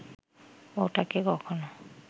ওটাকে কখনো